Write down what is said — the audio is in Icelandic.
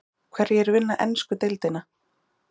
Hverjir vinna ensku deildina?